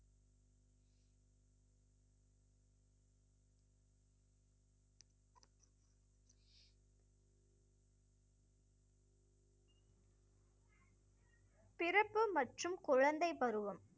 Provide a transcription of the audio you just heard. பிறப்பு மற்றும் குழந்தைப் பருவம்